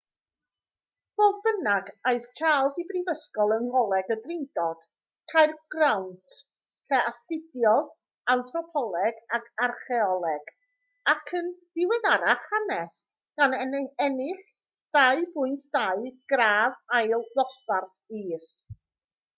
fodd bynnag aeth charles i'r brifysgol yng ngholeg y drindod caergrawnt lle astudiodd anthropoleg ac archaeoleg ac yn ddiweddarach hanes gan ennill 2:2 gradd ail ddosbarth is